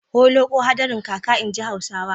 Holoƙo hadarin kaka, inji Hausawa.